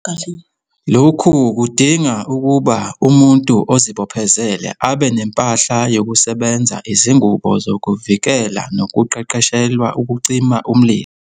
Lokhu kudinga ukuba umuntu ozibophezele abe nempahla yokusebenza, izingubo zokuvikela nokuqeqeshelwa ukucima umlilo.